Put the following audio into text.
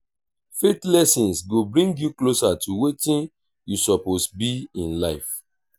faith lessons go bring yu closer to wetin yu soppose bi in life.